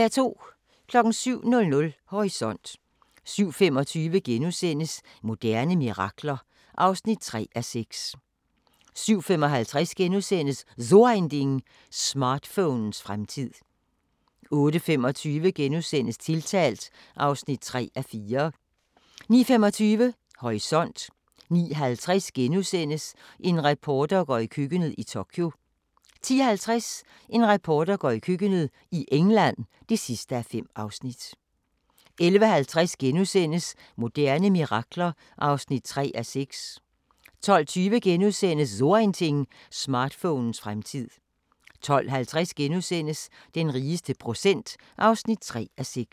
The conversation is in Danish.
07:00: Horisont 07:25: Moderne mirakler (3:6)* 07:55: So Ein Ding: Smartphonens fremtid * 08:25: Tiltalt (3:4)* 09:25: Horisont 09:50: En reporter går i køkkenet – i Tokyo (4:5)* 10:50: En reporter går i køkkenet – i England (5:5) 11:50: Moderne mirakler (3:6)* 12:20: So Ein Ding: Smartphonens fremtid * 12:50: Den rigeste procent (3:6)*